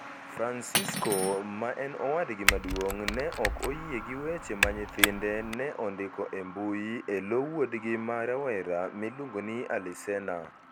Francisco, ma en owadgi maduong ', ne ok oyie gi weche ma nyithinde ne ondiko e mbui e lo wuodgi ma rawera miluongo ni alisena.